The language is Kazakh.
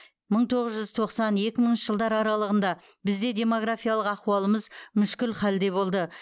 мың тоғыз жүз тоқсан екі мыңыншы жылдар аралығында бізде демографиялық ахуалымыз мүшкіл хәлде болды